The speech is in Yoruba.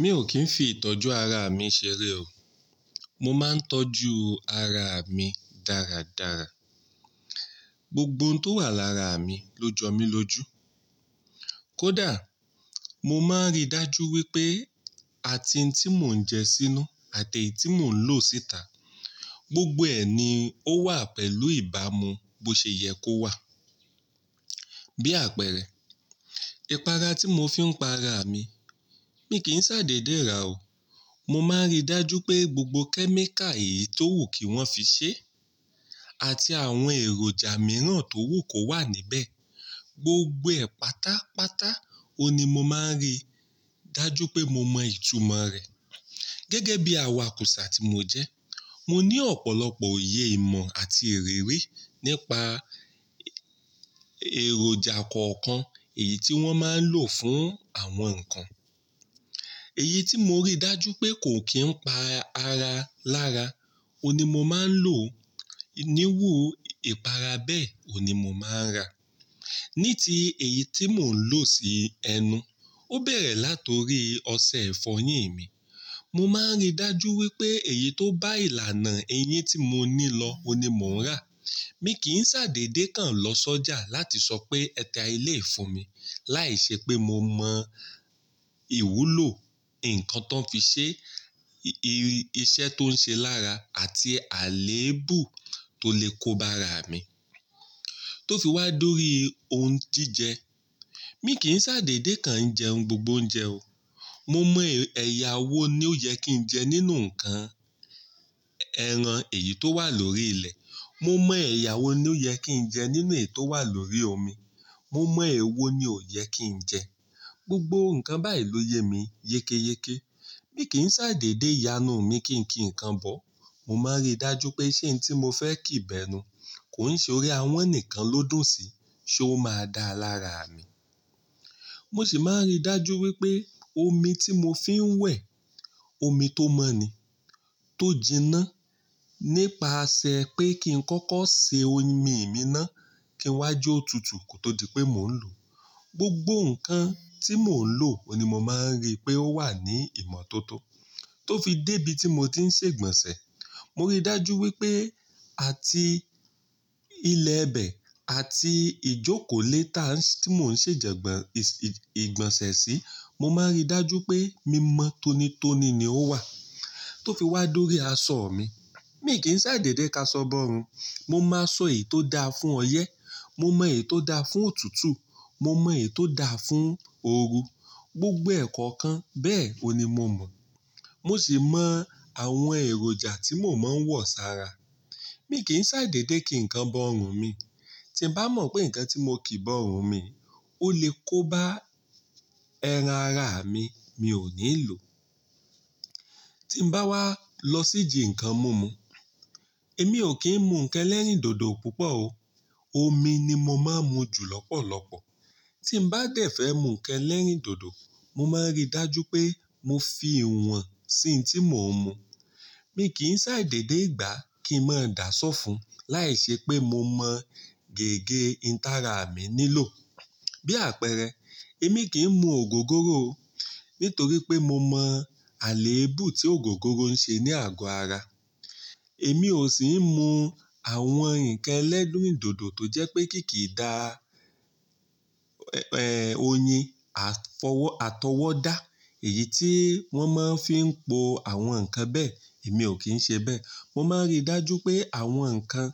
Mi ò kín fi ìtọ́jú ara mi ṣeré o. Mo máa ń tọ́jú ara mi dáradára. Gbogbo ohun tó wà lára mi ló jọ mí lóju. Kódà, mo máa ń rí dájú wípé àti ń tí mò ń jẹ sínú àti èyí tí mò ń lò síta, gbogbo ẹ ní ó wà pẹ̀lú ìbámu bó ṣe yẹ kó wà. Bí àpẹẹrẹ, ìpara tí mò fi ń pa ara mi, mi kì í ṣàdédé ra o. Mo máa ń rí dájú pé gbogbo kẹ́míkà èyí tó wù kí wọ́n fi ṣe àti àwọn èròjà mìíràn tó wù kó wà níbẹ̀. Gbogbo ẹ pátápátá, òní mo máa ń rí dájú pé mo mọ ìtumọ̀ rẹ̀. Gẹ́gẹ́ bí awakùsà tí mó jẹ́, mo ní ọ̀pọ̀lọpọ̀ oye ìmọ̀ àti ìrírí nípa èròjà kọ̀ọ̀kan èyí tí wọ́n máa ń lò fún àwọn nǹkan. Èyí tí mo rí dájú pé kò kín pa ara lára, òun ní mo máa ń lò. Iniwú ìpara bẹ́ẹ̀, òní mo máa ń rà. Ní ti èyí tí mò ń lò sí ẹnu, ó bẹ̀rẹ̀ látorí ọṣẹ ifọ́ yín mi. Mo máa ń rí dájú wípé èyí tó bá ìlànà eyín tí mo ní lọ́o, oun ní mò ń rà. Mi kì n ṣàdédé kan lọ sọ́jà láti sọ pé ẹta eleyii fún mi. Láìṣẹ́ pé mo mọ ìwúlò, ǹnkan tan fi ṣe, iṣẹ́ tó ń ṣe lára àti àléébù tó lè kóba ara mi. Tó fi wá dori ì ohun jíjẹ, mi kì i n ṣàdédé kan jẹ ohun gbogbo óúnjẹ o. Mo mọ ẹ̀yà wo ni ó yẹ kí njẹ nínú nǹkan ẹran èyí tó wà lórí ilẹ̀. Mo mọ ẹ̀yà wo ni ó yẹ kí njẹ nínú èyí tó wà lórí omi. Mo mọ èwo ni ó yẹ kí njẹ. Gbogbo nǹkan báyìí ló yẹ mi yékéyéké. Mi kì n ṣàdédé yanú mi kí n kí nǹkan bọ́. Mo máa ń rí dájú pé ṣẹ́ n tí mo fẹ́ kí bẹ́nú kò oun ṣe orí àwọn ǹikan ló dùro sí, ṣé ó máa da lára mi. Mo sì máa ń rí dájú wípé omi tí mò fi ń wẹ̀, omi tó mọ́ ni, tó jiná. Nípasẹ̀ pé kí n kọ́kọ́ ṣe omi mi ná, kí n wá jó o tútù ko tó di pé mò ń lò. Gbogbo nǹkan tí mò ń lò, òní mo máa ń rí pé ó wà ní ìmọ̀ tó tó. Tó fi dé ibi tí mò ti ń ṣe ìgbọ̀nsẹ̀, mo rí dájú wípé àti ilẹ̀ bẹ̀ àti ìjókòó létà tí mò ń ṣe ìgbọ̀nsẹ̀ sí, mo máa ń rí dájú pé mímọ́ tónítóní ni ó wà. Tó fi wá dori aṣọ mi, mi kì í ṣàdédé kaṣọ bọ́rùn. Mo máa ṣọ èyí tó da fún ọyẹ́, mo mọ èyí tó da fún òtútù, mo mọ èyí tó da fún òru. Gbogbo ẹ̀kọ́ kan bẹ́ẹ̀ oun ni mo mọ̀. Mo sì mọ àwọn èròjà tí mò máa ń wọ̀ sára. Mi kì í ṣàdédé kí nǹkan bọ́rùn mi. Tí n bá mọ̀ pé nǹkan tí mo kí bọ́rùn mi ó lè kóba ẹran ara mi, mi ò ní lò. Tí n bá wá lọ sí ìjì nǹkan mu mu, èmi ò kín mú nǹkan ẹlẹ́rìndòdò púpọ̀ o. Omi ni mo máa ń mu jù lọ́pọ̀lọpọ̀. Tí n bá dẹ̀ fẹ́ mú nǹkan ẹlẹ́rìndòdò, mo máa ń rí dájú pé mo fi ìwọ̀n sí ohun tí mò ń mu. Mi kì n ṣàdédé gba kí n má dàsọ́ fún, láìṣẹ́ pé mo mọ gẹ́gẹ́ intara mi nílò. Bí àpẹẹrẹ, èmi kì í mú ògógóró o. Nítorí pé mo mọ àléébù tí ògógóró ń ṣe ní àgọ́ ara. Èmi ò sì ń mú àwọn nǹkan ẹlẹ́rìndòdò tó jẹ́ pé kì kí dà, oyin àtọwọ́dá, èyí tí wọ́n máa ń fi ń po àwọn nǹkan bẹ́ẹ̀, èmi ò kín ṣe bẹ́ẹ̀. Mo máa ń rí dájú pé àwọn nǹkan